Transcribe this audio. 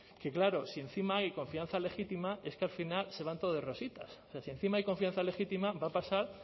que claro si encima hay confianza legítima es que al final se van todos de rositas si encima hay confianza legítima va a pasar